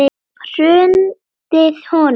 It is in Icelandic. Hrundið honum?